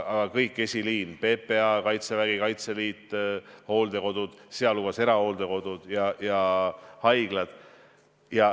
Aga kogu esiliin: PPA, Kaitsevägi, Kaitseliit, hooldekodud, sealhulgas erahooldekodud ja haiglad.